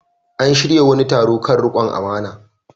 An shirya wani taro kan riƙon amana.